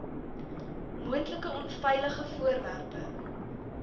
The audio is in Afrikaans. moontlike onveilige voorwerpe